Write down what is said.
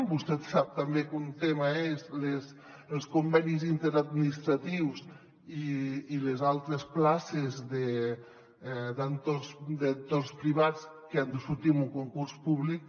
vostè sap també que un tema són els convenis interadministratius i les altres places d’entorns privats que han de sortir en un concurs públic